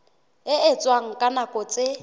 e etswang ka nako tse